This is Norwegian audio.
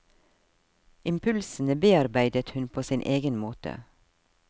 Impulsene bearbeidet hun på sin egen måte.